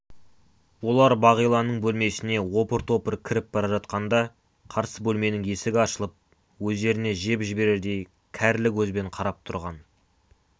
олар бағиланың бөлмесіне опыр-топыр кіріп бара жатқанда қарсы бөлменің есігі ашылып өздеріне жеп жіберердей кәрлі көзбен қарап тұрған